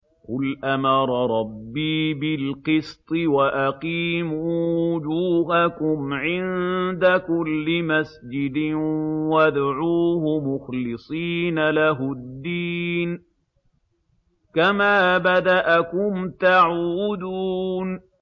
قُلْ أَمَرَ رَبِّي بِالْقِسْطِ ۖ وَأَقِيمُوا وُجُوهَكُمْ عِندَ كُلِّ مَسْجِدٍ وَادْعُوهُ مُخْلِصِينَ لَهُ الدِّينَ ۚ كَمَا بَدَأَكُمْ تَعُودُونَ